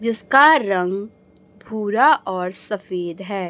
जिसका रंग भूरा और सफेद है।